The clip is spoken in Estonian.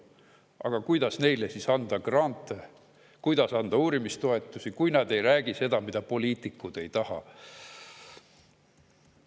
Aga kuidas neile anda grante, kuidas anda uurimistoetusi, kui nad ei räägi seda, mida poliitikud?